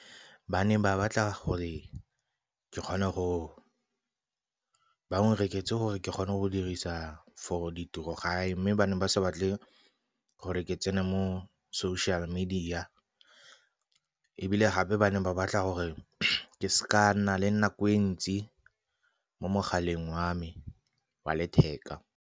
Ba ne ba batla gore ke kgone go, ba o nrekele gore ke kgone go dirisa for di tirogae. Mme ba ne ba sa batle gore ke tsene mo social media, ebile gape ba ne ba batla gore ke se ka nna le nako e ntsi mo mogaleng wa me wa letheka.